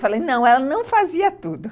Eu falei, não, ela não fazia tudo.